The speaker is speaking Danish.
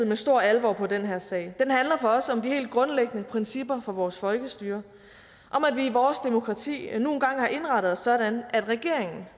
med stor alvor på den her sag den handler for os om de helt grundlæggende principper for vores folkestyre om at vi i vores demokrati nu engang har indrettet os sådan at regeringen